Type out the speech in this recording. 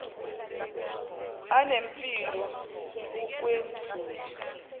anempilo ukw edlula